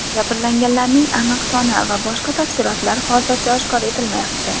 Jabrlanganlarning aniq soni va boshqa tafsilotlar hozircha oshkor etilmayapti.